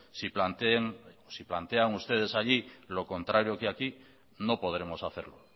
si plantean ustedes allí lo contrario que aquí no podremos hacerlo